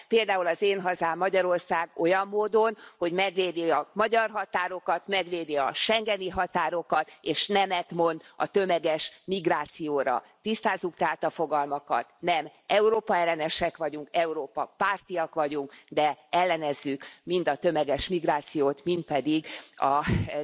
Például az én hazám, Magyarország, olyan módon, hogy megvédi a magyar határokat, megvédi a schengeni határokat és nemet mond a tömeges migrációra. Tisztázzuk tehát a fogalmakat nem Európa ellenesek vagyunk, Európa pártiak vagyunk, de ellenezzük mind a tömeges migrációt, mind pedig az Európai Egyesült Államok tervét. Köszönöm!